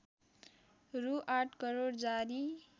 रु ८ करोड जारी